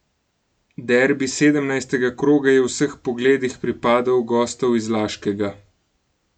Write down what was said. Derbi sedemnajstega kroga je v vseh pogledih pripadel gostov iz Laškega.